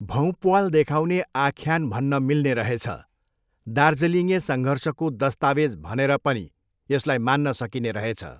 भौँप्वाल देखाउने आख्यान भन्न मिल्ने रहेछ, दार्जिलिङे सङ्घर्षको दस्तावेज भनेर पनि यसलाई मान्न सकिने रहेछ